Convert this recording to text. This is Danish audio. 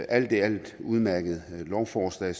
alt i alt et udmærket lovforslag